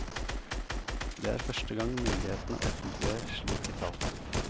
Det er første gang myndighetene offentliggjør slike tall.